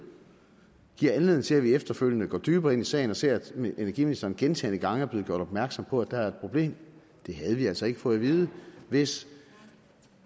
giver anledning til at vi efterfølgende går dybere ind i sagen og ser at energiministeren gentagne gange er blevet gjort opmærksom på at der er et problem det havde vi altså ikke fået at vide hvis